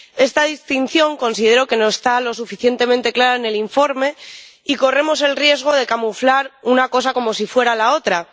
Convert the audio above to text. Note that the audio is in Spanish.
Esta distinción considero que no está lo suficientemente clara en el informe y corremos el riesgo de camuflar una cosa como si fuera la otra.